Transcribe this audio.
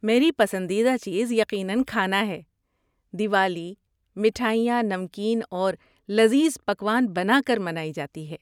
میری پسندیدہ چیز، یقیناً، کھانا ہے۔ دیوالی مٹھائیاں، نمکین اور لذیذ پکوان بنا کر منائی جاتی ہے۔